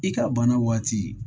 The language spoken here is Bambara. I ka bana waati